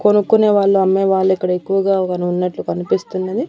కొనుక్కొనే వాళ్ళు అమ్మేవాళ్ళు ఇక్కడ ఎక్కువగా గని ఉన్నట్లు కనిపిస్తున్నది.